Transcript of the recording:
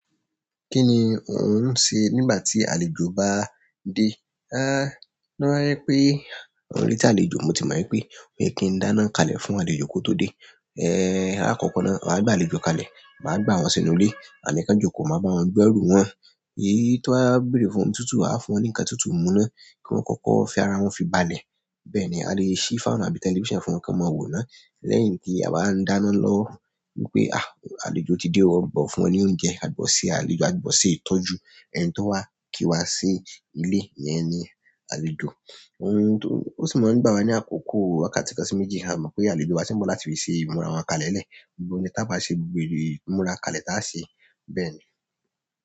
Kí ni ò ń ṣe nígbà tí àlejò bá dé? Aá toba jẹ wípé, orí tí àlejò mo ti mọ̀ pé mo kí ń dáná kalẹ̀ fún àlejò kí ó tó dé. Eh, àkọ́kọ́ náà, a bá àlejò kalẹ̀, máa gbà wọ́n sínú ilé, àní ká àlejò kó máa bá wọn gbẹ́ òrùn wọn. Èyí tó á bèrè fún ohun tuntun, a á fún wọn ní ńkan tuntun mú náà, kí wọ́n kọ́kọ́ fi ara wọn fi balẹ̀. Bẹ́ẹ̀ ni a leè ṣí fáànù àbí tẹlifíṣàn fún wọn kí wọ́n máa wò ó náà. Lẹ́yìn tí a bá ń dáná lọ wípé, àh! Àlejò ti dé, wọ́n bọ̀ fún wọn ní oúnjẹ, a gbọ́ sí àlejò, a gbọ́ sí ìtọ́jú. Ẹni tó wà kí wá sí ilé ìyẹn ní àlejò ohun tó, ó sì mọ̀ nígbà wa ní àkókò àká sì ká sí méjì. A mọ̀ pé àlejò wa tí ń bọ̀ láti lè ṣe ìmúra wa kalẹ̀ lẹ̀. Ohun ni tí a bá ṣe gbogbo ìmúra kalẹ̀ tí á ṣe bẹ́ẹ̀ ni.